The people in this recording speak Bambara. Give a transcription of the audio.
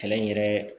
Kɛlɛ in yɛrɛ